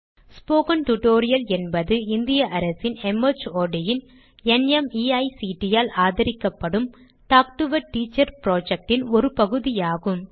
spoken டியூட்டோரியல் என்பது இந்திய அரசின் மார்ட் ன் நிமைக்ட் ஆல் ஆதரிக்கப்படும் talk to a teacher project ன் ஒரு பகுதி ஆகும்